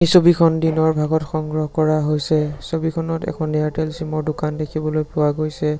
ছবিখন দিনৰ ভাগত সংগ্ৰহ কৰা হৈছে ছবিখনত এখন এয়াৰটেল ছিম ৰ দোকান দেখিবলৈ পোৱা গৈছে।